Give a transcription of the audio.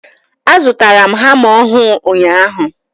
A zụtara m hama ọhụụ ụnyaahụ.